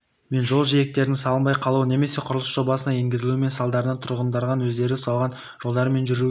мен жол жиектерінің салынбай қалуы немесе құрылыс жобасына енгізілмеуі салдарынан тұрғындар өздері салған жолдармен жүруге